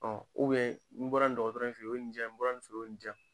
n bɔra nin dɔgɔtɔrɔ in fe ye o ye nin di yan, n bɔra nin fe ye o ye nin di yan .